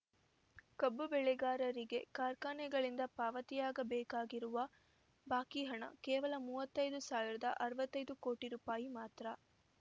ಕಬ್ಬು ಬೆಳೆಗಾರರಿಗೆ ಕಾರ್ಖಾನೆಗಳಿಂದ ಪಾವತಿಯಾಗಬೇಕಿರುವ ಬಾಕಿ ಹಣ ಕೇವಲ ಮೂವತ್ತೈದು ಸಾವಿರದ ಅರವತ್ತೈದು ಕೋಟಿ ರೂಪಾಯಿ ಮಾತ್ರ